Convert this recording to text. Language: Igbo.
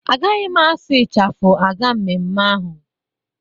Agaghị m asụ ịchafụ aga mmemme ahụ.